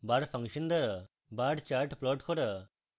bar function দ্বারা bar chart plot করা